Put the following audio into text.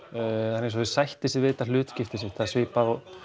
það er eins og þau sætti sig við hlutskipti sitt það er svipað og